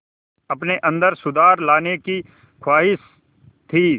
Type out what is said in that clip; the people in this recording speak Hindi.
अपने अंदर सुधार लाने की ख़्वाहिश थी